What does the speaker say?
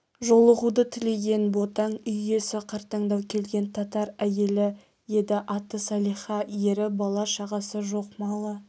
жолығуды тілеген ботаң үй иесі қартаңдау келген татар әйелі еді аты салиха ері бала-шағасы жоқ малы